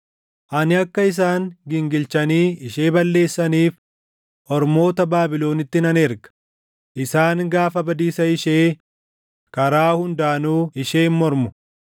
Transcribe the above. Ani akka isaan gingilchanii ishee balleessaniif ormoota Baabilonitti nan erga; isaan gaafa badiisa ishee, karaa hundaanuu isheen mormu.